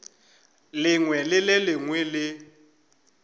lengwe le le lengwe le